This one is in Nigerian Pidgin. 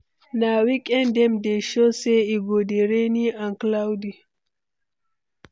Na weekend dem dey show say e go dey rainy and cloudy.